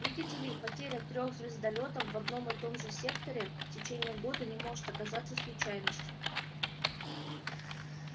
видите ли потеря трёх звездолётов в одном и том же секторе в течение года не может оказаться случайностью